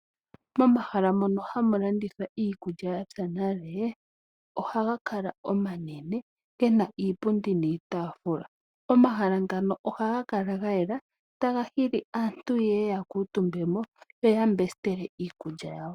Omahala ngono hamu landithwa iikulya yapya nale ohaga kala omanene gena iipundi niitaafula. Omahala ngoka ohaga kala gayela taga hili aantu yeye yakuutumbe yambesitele iikulya yawo.